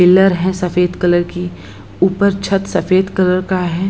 Pillar है सफ़ेद colour की ऊपर छत सफ़ेद कलर का है।